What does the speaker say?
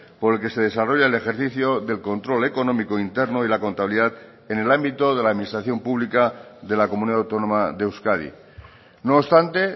por el que se desarrolla el ejercicio del control económico interno y la contabilidad en el ámbito de la administración pública de la comunidad autónoma de euskadi no obstante